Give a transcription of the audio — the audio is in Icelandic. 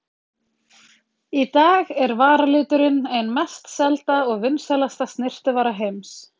Í dag er varaliturinn ein mest selda og vinsælasta snyrtivara heims.